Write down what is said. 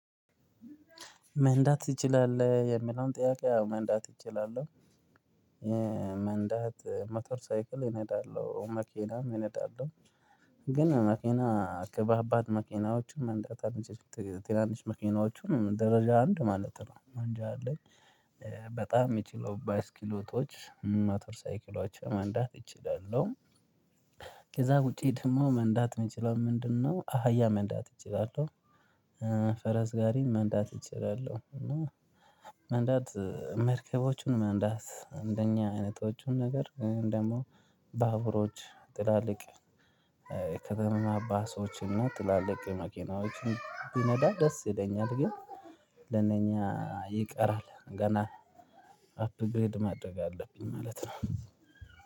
መንዳት ትችላል የሚለውን ጥያቄ አዎ መንዳት እችላለሁ። መንዳት መቶር ሳይክል እነዳለሁ መኪናም እነዳለሁ። ግን መኪና ከባባድ መኪናዎችም መንደት አልችልም ትናንሽ መኪናዎችን ደረጃ አንድ ማለት ነው ማንጃ አለኝ። በጣም የሚችሉ ባስኪሎቶች ሞተር ሳይኪሎውች መንዳት እችላሉ። ከዚያ ውጪ ደግሞ መንዳት የምችለው ምንድነው? አህያ መንዳት እችላለሁ። ፈረስ ጋሪን መንዳት እችላለሁ። እና መንዳት መርከቦቹን መንዳት አንደኛ አይነቶቹን ነገር ደግሞ ባቡሮች ትላልቅ ከተማ ባሶችን እና ትላልቅ መኪናዎችን ቢነዳ ደስ ይለኛል። ግን ለነኛ ይቀራል ገና አፕግሬድ ማድረግ አለብኝ ማለት ነው።